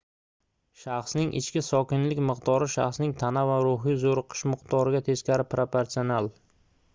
shaxsning ichki sokinlik miqdori shaxsning tana va ruhiy zoʻriqishi miqdoriga teskari proporsional